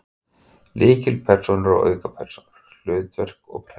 Lykilpersónur og aukapersónur, hlutverk og persónusköpun